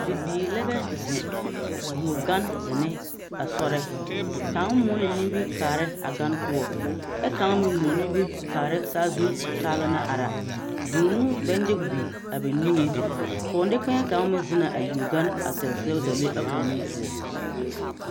Bibiiri lɛbɛ zeŋ yuo gan zenne a sɔrɛ kaŋ moɔ ne nimiri a kaarɛ a gan poɔ ɛ kaŋ meŋ moɔ nimiri a kaara saazu o taaba naŋ ara vūū no bɛ nyige biŋ a ba niŋeŋ pɔgelee kaŋ kaŋ meŋ zenna a yuo gan a taa sɛgdalee a o nu poɔ.